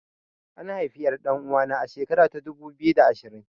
An haifi ƴar ɗan uwana a shekara ta dubu biyu da ashirin